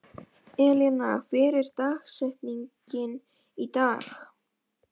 Elíanna, hver er dagsetningin í dag?